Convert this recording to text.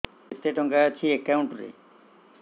କେତେ ଟଙ୍କା ଅଛି ଏକାଉଣ୍ଟ୍ ରେ